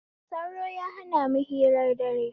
Sauro ya hanamu hirar dare